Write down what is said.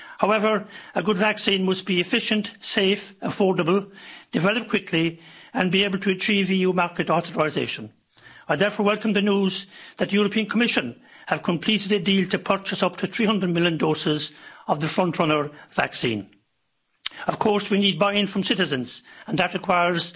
However, a good vaccine must be efficient, safe, affordable, developed quickly and be able to achieve EU market authorisation. I therefore welcome the news that the European Commission have completed a deal to purchase up to 300 million doses of this frontrunner vaccine. Of course, we need buy-in from citizens, and that requires